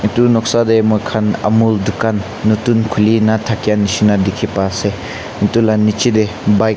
itu noksa teh muikhan amul khan nutun khulina thake nishina dikhi pai ase itu la niche teh bike .